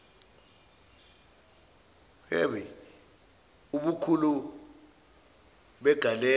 iii ubukhulu begalelo